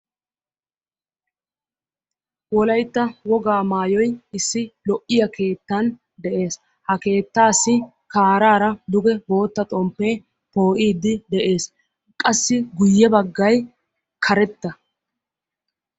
Wolaytta wogaa maayoy issi lo"iyaa keettan de"es. Ha keettassi kaarara duge bootta xomppe poo"iiddi de"ees. Qassi guyye baggay karetta.